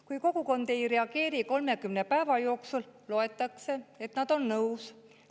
Kui kogukond ei reageeri 30 päeva jooksul, loetakse, et nad on nõus.